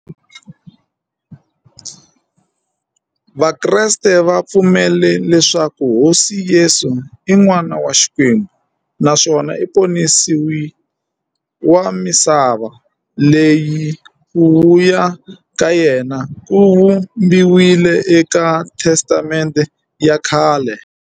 Vakreste va pfumela leswaku Hosi Yesu i n'wana wa Xikwembu naswona i ponisiwi wa misava, loyi ku vuya ka yena ku vhumbiweke eka Testamente ya khale.